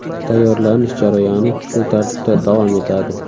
Tayyorlanish jarayoni shu tartibda davom etadi.